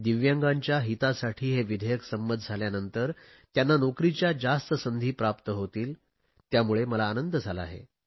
दिव्यांगांच्या हितासाठी हे विधेयक संमत झाल्यानंतर त्यांना नोकरीच्या जास्त संधी प्राप्त होतील त्यामुळे मला आनंद झाला आहे